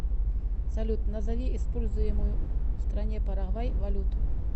салют назови используемую в стране парагвай валюту